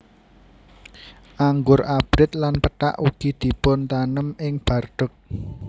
Anggur abrit lan pethak ugi dipuntanem ing Bordeaux